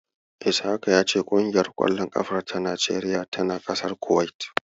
Ishaka ya ce ƙungiyar ƙwallon ƙafa ta Najeriya tana ƙasar Kuwait.